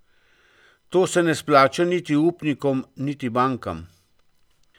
To se ne splača niti upnikom niti bankam.